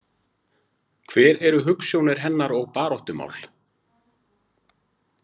Hver eru hugsjónir hennar og baráttumál?